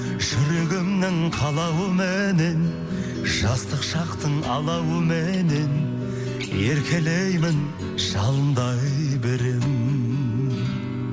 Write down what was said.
жүрегімнің қалауыменен жастық шақтың алауыменен еркелеймін жалындай беремін